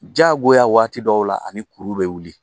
Jagoya waati dɔw la ani kuru be wuli